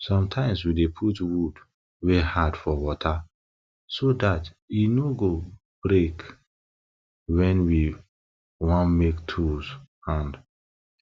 sometimes we dey put wood wey hard for water so dat e no go break wen we want make tools hand